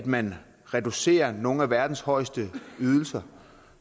man vil reducere nogle af verdens højeste ydelser og